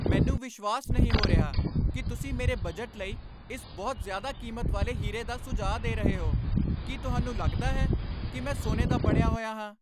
ਮੈਨੂੰ ਵਿਸ਼ਵਾਸ ਨਹੀਂ ਹੋ ਰਿਹਾ ਕਿ ਤੁਸੀਂ ਮੇਰੇ ਬਜਟ ਲਈ ਇਸ ਬਹੁਤ ਜ਼ਿਆਦਾ ਕੀਮਤ ਵਾਲੇ ਹੀਰੇ ਦਾ ਸੁਝਾਅ ਦੇ ਰਹੇ ਹੋ! ਕੀ ਤੁਹਾਨੂੰ ਲੱਗਦਾ ਹੈ ਕਿ ਮੈਂ ਸੋਨੇ ਦਾ ਬਣਿਆ ਹੋਇਆ ਹਾਂ?